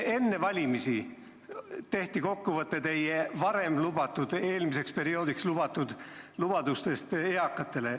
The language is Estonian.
Enne valimisi tehti kokkuvõte teie eelmise perioodi lubadustest eakatele.